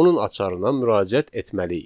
onun açarına müraciət etməliyik.